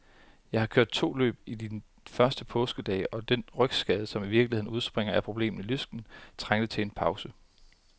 Jeg har kørt to løb i de første påskedage, og den rygskade, som i virkeligheden udspringer af problemer i lysken, trængte til en pause.